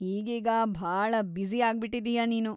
ಈಗೀಗ ಭಾಳ ಬ್ಯುಸಿ ಆಗ್ಬಿಟಿದೀಯ ನೀನು.